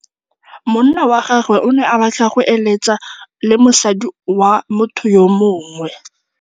Monna wa gagwe o ne a batla go êlêtsa le mosadi wa motho yo mongwe.